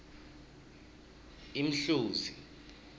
imhluzi